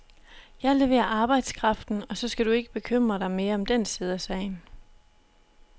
Jeg leverer arbejdskraften og så skal du ikke bekymre dig mere om den side af sagen.